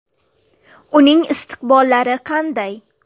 Uning istiqbollari qanday?.